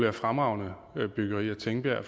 er fremragende byggerier tingbjerg